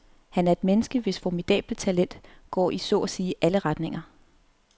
Han er et menneske, hvis formidable talent går i så at sige alle retninger.